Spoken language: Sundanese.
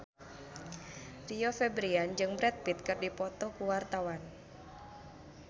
Rio Febrian jeung Brad Pitt keur dipoto ku wartawan